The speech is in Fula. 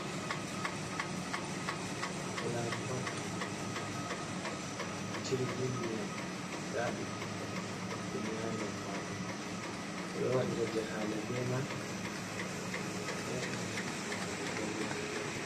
Fulayinbot jiirgi ndiiyam, nda ɓibɓe adama hebbini ha nder majum. Ɓeɗo waɗira jahaale be man ɓeɗo erna himɓe majeebo be maan.